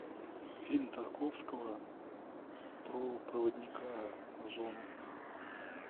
фильм тарковского про проводника в зону